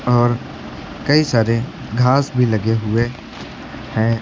और कई सारे घास भी लगे हुए हैं।